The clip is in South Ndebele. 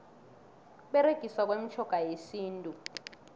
ukuberegiswa kwemitjhoga yesintu